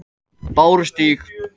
Bárustíg